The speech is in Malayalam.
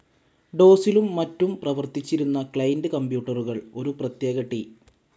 ഡോസിലും മറ്റും പ്രവർത്തിച്ചിരുന്ന ക്ലയന്റ്‌ കമ്പ്യൂട്ടറുകൾ, ഒരു പ്രത്യേക ടി.